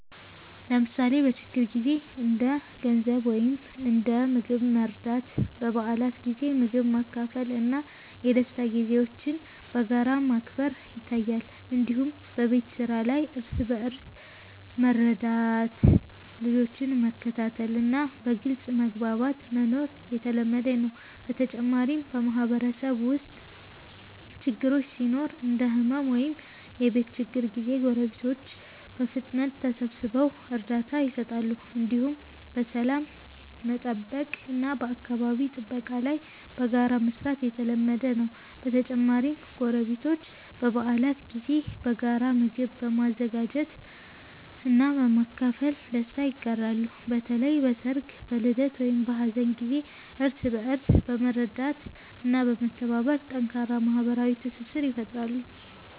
ለምሳሌ በችግር ጊዜ እንደ ገንዘብ ወይም እንደ ምግብ መርዳት፣ በበዓላት ጊዜ ምግብ ማካፈል እና የደስታ ጊዜዎችን በጋራ ማክበር ይታያል። እንዲሁም በቤት ስራ ላይ እርስ በእርስ መርዳት፣ ልጆችን መከታተል እና በግልጽ መግባባት መኖር የተለመደ ነው። በተጨማሪም በማህበረሰብ ውስጥ ችግር ሲኖር እንደ ሕመም ወይም የቤት ችግር ጊዜ ጎረቤቶች በፍጥነት ተሰብስበው እርዳታ ይሰጣሉ። እንዲሁም በሰላም መጠበቅ እና በአካባቢ ጥበቃ ላይ በጋራ መስራት የተለመደ ነው። በተጨማሪም ጎረቤቶች በበዓላት ጊዜ በጋራ ምግብ በመዘጋጀት እና በማካፈል ደስታ ይጋራሉ። በተለይ በሰርግ፣ በልደት ወይም በሀዘን ጊዜ እርስ በእርስ በመርዳት እና በመተባበር ጠንካራ ማህበራዊ ትስስር ይፈጥራሉ።